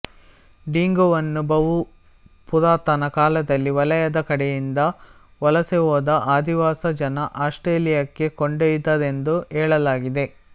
ಡಿಂಗೋವನ್ನು ಬಹುಪುರಾತನ ಕಾಲದಲ್ಲಿ ಮಲಯದ ಕಡೆಯಿಂದ ವಲಸೆಹೋದ ಆದಿವಾಸಿ ಜನ ಆಸ್ಟ್ರೇಲಿಯಕ್ಕೆ ಕೊಂಡೊಯ್ದರೆಂದು ಹೇಳಲಾಗಿದೆ